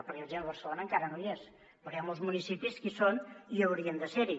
per exemple barcelona encara no hi és i hi ha molts municipis que no hi són i haurien de ser hi